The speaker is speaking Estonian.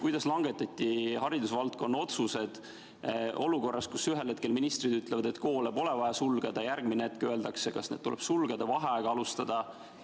Kuidas langetati haridusvaldkonna otsused olukorras, kus ühel hetkel ministrid ütlevad, et koole pole vaja sulgeda, järgmisel hetkel öeldakse, et need tuleb sulgeda, tuleb vaheaega alustada?